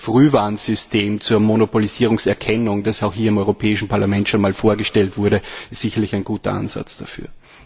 Ich denke, das Frühwarnsystem zur Monopolisierungserkennung, das auch hier im Europäischen Parlament schon einmal vorgestellt wurde, ist sicherlich ein guter Ansatz dafür.